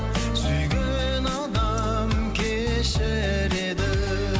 сүйген адам кешіреді